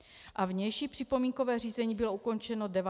A vnější připomínkové řízení bylo ukončeno 19. října.